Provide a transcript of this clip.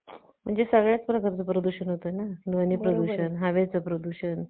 कमी असल्याने हे laptop आपण सहज बाळगू शकतो. altra laptop